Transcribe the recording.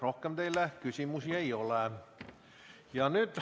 Rohkem teile küsimusi ei ole.